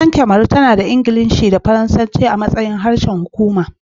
Kasar Kamaru, tana da Ingilishi da Faransanci a matsayin harsunan hukuma